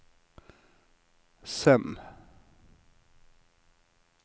Sem